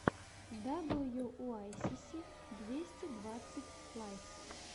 даблюуайсиси двести двадцать лайв